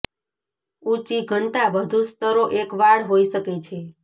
ઊંચી ઘનતા વધુ સ્તરો એક વાળ હોઈ શકે છે